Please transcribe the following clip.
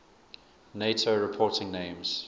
nato reporting names